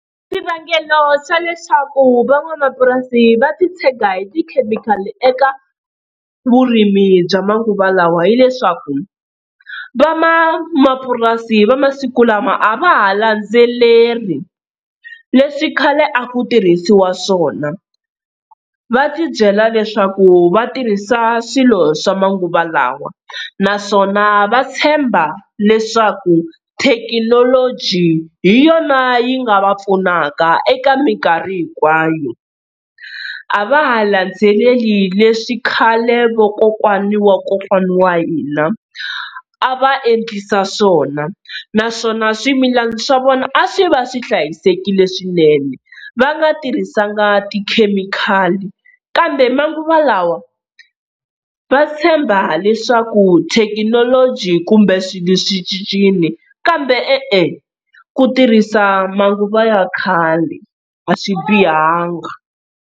Xivangelo xa leswaku van'wamapurasi va titshega hi tikhemikhali eka vurimi bya manguva lawa hileswaku, van'wamapurasi va masiku lama a va ha landzeleri leswi khale a ku tirhisiwa swona. Va tibyela leswaku vatirhisa swilo swa manguva lawa naswona va tshemba leswaku thekinoloji hi yona yi nga va pfunaka eka minkarhi hinkwayo, a va ha landzeleli leswi khale vakokwana wa kokwana wa hina a va endlisa swona. Naswona swimilana swa vona a swi va swi hlayisekile swinene va nga tirhisanga tikhemikhali, kambe manguva lawa va tshemba leswaku thekinoloji kumbe swilo swi cincile kambe e-e ku tirhisa manguva ya khale a swi bihanga.